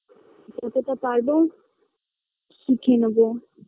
যতটা পারবো শিখে নেবো